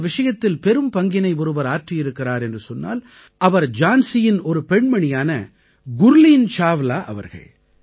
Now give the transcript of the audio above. இந்த விஷயத்தில் பெரும்பங்கினை ஒருவர் ஆற்றியிருக்கிறார் என்று சொன்னால் அவர் ஜான்சியின் ஒரு பெண்மணியான குர்லீன் சாவ்லா அவர்கள்